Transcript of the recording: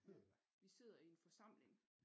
Vi sidder i en forsamling